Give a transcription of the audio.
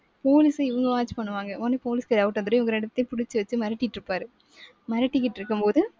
போலீசை இவங்க watch பண்ணுவாங்க. உடனே police doubt வந்துரும். இவங்க ரெண்டுத்தையும் பிடிச்சு வச்சு மிரட்டிட்டு இருப்பாரு. மிரட்டிக்கிட்டு இருக்கும்போது